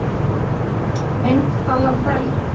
Mynd Alan Bell